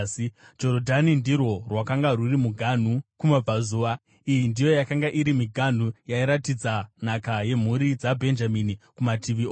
Jorodhani ndirwo rwakanga rwuri muganhu kumabvazuva. Iyi ndiyo yakanga iri miganhu yairatidza nhaka yemhuri dzaBhenjamini kumativi ose.